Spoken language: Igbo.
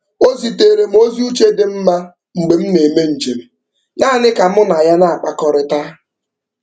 O ziteere m ozi uche dị mma mgbe ọ na-eme njem naanị ka mụ na ya na-akpakọrịta.